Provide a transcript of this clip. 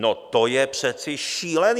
No, to je přece šílené!